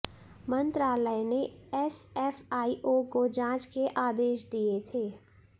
मंत्रालय ने एसएफआईओ को जांच के आदेश दिए थे